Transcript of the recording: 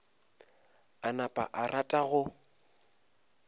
a napa a rata go